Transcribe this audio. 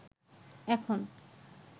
এখন